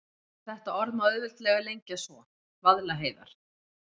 En þetta orð má auðveldlega lengja svo: Vaðlaheiðar.